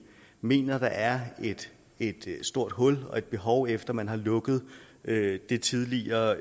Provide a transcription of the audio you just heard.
mener at der er et stort hul og et behov efter at man har lukket det tidligere